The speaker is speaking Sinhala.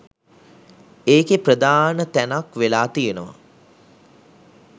ඒකෙ ප්‍රධාන තැනක් වෙලා තියෙනවා